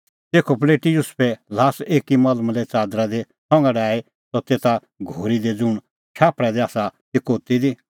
तेखअ पल़ेटी युसुफै ल्हास एकी मलमले च़ादरा दी संघा डाही सह तेसा घोरी दी ज़ुंण शाफल़ा दी आसा ती कोती दी